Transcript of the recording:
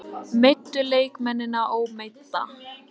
Meiddu leikmennina, ómeidda?